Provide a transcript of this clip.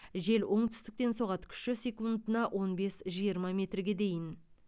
жел оңтүстіктен соғады күші секундына он бес жиырма метрге дейін